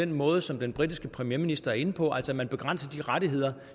måde som den britiske premierminister er inde på at man begrænser de rettigheder